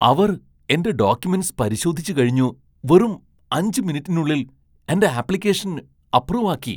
അവർ എന്റെ ഡോക്യുമെന്റ്സ് പരിശോധിച്ച് കഴിഞ്ഞു വെറും അഞ്ച് മിനിറ്റിനുള്ളിൽ എന്റെ ആപ്ലിക്കേഷൻ അപ്രൂവ് ആക്കി !